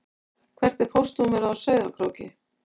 Hvert er póstnúmerið á Sauðárkróki?